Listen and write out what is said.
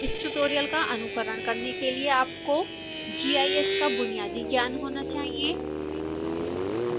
इस ट्यूटोरियल का अनुकरण करने के लिए आपको gis का बुनियादी ज्ञान होना चाहिए